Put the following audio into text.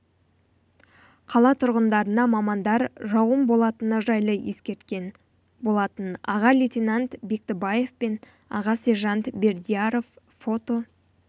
қала тұрғындарына мамандар жауын болатыны жайлы ескерткен болатын аға лейтенант бектібаев пен аға сержант бердияров фото